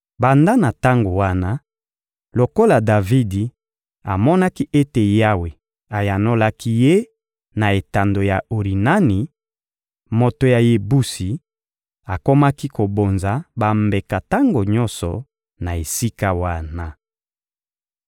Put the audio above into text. Banda na tango wana, lokola Davidi amonaki ete Yawe ayanolaki ye na etando ya Orinani, moto ya Yebusi, akomaki kobonza bambeka tango nyonso na esika wana.